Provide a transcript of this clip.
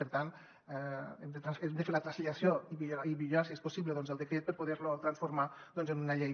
per tant hem de fer la translació i millorar si és possible doncs el decret per poder lo transformar en una llei